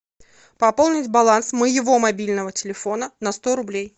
пополнить баланс моего мобильного телефона на сто рублей